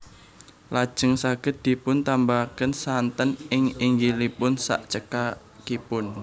Lajeng saged dipun tambahaken santen ing nginggilipun sak cekapipun